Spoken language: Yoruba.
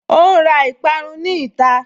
Ó ǹ ra ìparun ní ìta